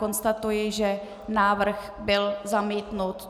Konstatuji, že návrh byl zamítnut.